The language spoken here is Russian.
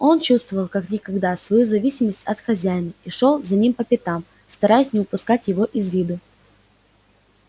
он чувствовал как никогда свою зависимость от хозяина и шёл за ним по пятам стараясь не упускать его из виду